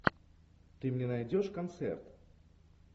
ты мне найдешь концерт